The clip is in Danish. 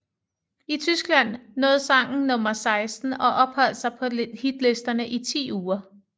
I Tyskland nåede sangen nummer 16 og opholdt sig på hitlisterne i ti uger